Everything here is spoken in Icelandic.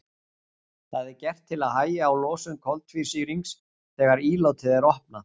það er gert til að hægja á losun koltvísýrings þegar ílátið er opnað